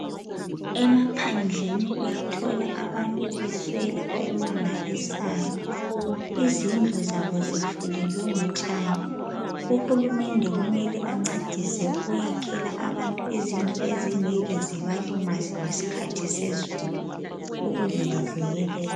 Emaphandleni uyathola abantu beswela okumangalisayo izindlu zabo Zifulelwe ngotshani uhulumende kumele ancedise ukuyakhela abantu izindlu ezingeke zibalimaze ngesikhathi sezulu